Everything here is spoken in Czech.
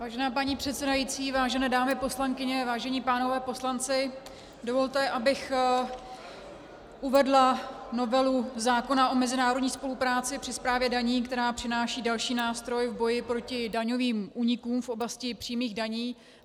Vážená paní předsedající, vážené dámy poslankyně, vážení pánové poslanci, dovolte, abych uvedla novelu zákona o mezinárodní spolupráci při správě daní, která přináší další nástroj v boji proti daňovým únikům v oblasti přímých daní.